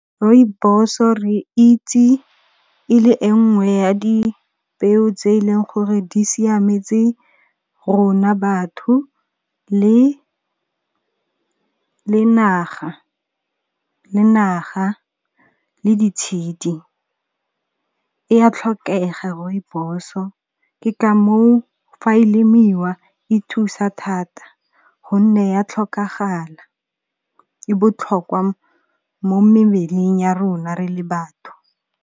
Rooibos-o re itse e le e ngwe ya dipeo tse e leng gore di siametse rona batho le naga le ditshedi. E ya tlhokega rooibos-o ke ka moo fa e lemiwa e thusa thata gonne ya tlhokagala, e botlhokwa mo memeleng ya rona re le batho.